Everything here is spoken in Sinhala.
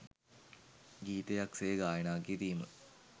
ගීතයක් සේ ගායනා කිරීම